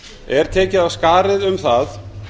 er tekið af skarið um það